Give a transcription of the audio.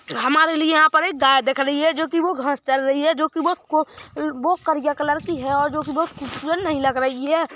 हमारे लिए यहा पर एक गाय दिख रही है जो की वो घाँस चर रही है जो की वो करिया कलर की है जो की वो खूबसूरत नहीं लग रही हैं।